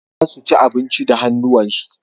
Za su ci abinci da hannuwansu.